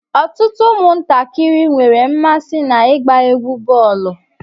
Ọtụtụ ụmụ ntakịrị nwere mmasị na-igba égwu bọọlu.